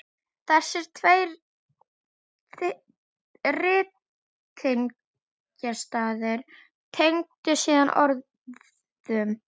Þessir tveir ritningarstaðir tengdust síðan orðum